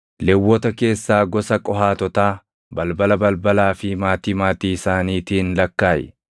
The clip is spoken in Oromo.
“Lewwota keessaa gosa Qohaatotaa balbala balbalaa fi maatii maatii isaaniitiin lakkaaʼi.